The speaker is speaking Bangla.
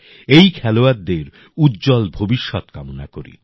এই খেলোয়ারদের উজ্জ্বল ভবিষ্যৎ কামনা করি